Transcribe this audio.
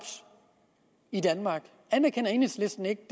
i danmark anerkender enhedslisten ikke